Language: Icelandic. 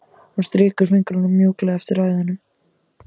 Hún strýkur fingrunum mjúklega eftir æðunum.